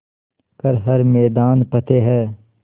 कर हर मैदान फ़तेह